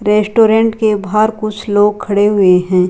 Restaurant के बाहर कुछ लोग खड़े हुए हैं।